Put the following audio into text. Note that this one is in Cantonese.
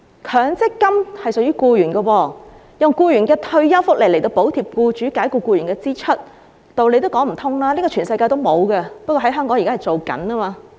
強積金屬於僱員，用僱員的退休福利來補貼僱主解僱僱員的支出，道理也說不通，這是全世界也沒有的，只不過香港正在做。